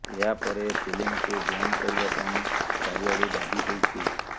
ଏହାପରେ ଫିଲ୍ମକୁ ବ୍ୟାନ୍ କରିବା ପାଇଁ ଚାରିଆଡୁ ଦାବି ହୋଇଛି